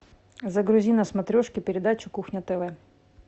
загрузи на смотрешке передачу кухня тв